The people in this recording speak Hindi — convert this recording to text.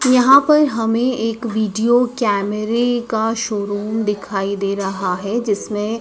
यहां पर हमें एक वीडियो कैमरे का शोरूम दिखाई दे रहा है जिसमें--